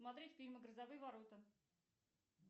смотреть фильмы грозовые ворота